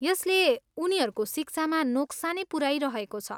यसले उनीहरूको शिक्षामा नोक्सानी पुऱ्याइरहेको छ।